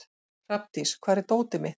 Hrafndís, hvar er dótið mitt?